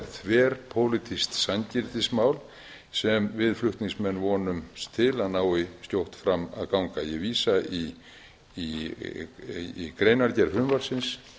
þverpólitískt sanngirnismál sem við flutningsmenn vonumst til að nái skjótt fram að ganga ég vísa í greinargerð frumvarpsins